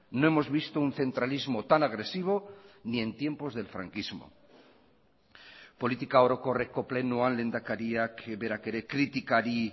no hemos visto un centralismo tan agresivo ni en tiempos del franquismo politika orokorreko plenoan lehendakariak berak ere kritikari